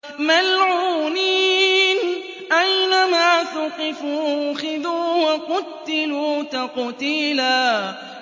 مَّلْعُونِينَ ۖ أَيْنَمَا ثُقِفُوا أُخِذُوا وَقُتِّلُوا تَقْتِيلًا